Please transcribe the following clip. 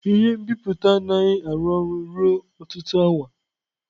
Ihe nbipute anaghị arụ ọrụ ruo ọtụtụ awa.